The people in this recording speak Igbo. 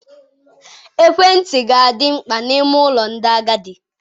Ekwentị ga-adị mkpa n'ime ụlọ ndị agadi.